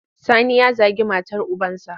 Sani ya zagi matar ubansa.